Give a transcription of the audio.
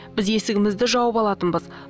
біз есігімізді жауып алатынбыз